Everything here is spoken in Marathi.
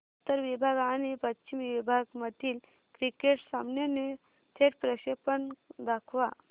उत्तर विभाग आणि पश्चिम विभाग मधील क्रिकेट सामन्याचे थेट प्रक्षेपण दाखवा